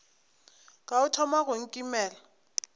ka o thoma go nkimela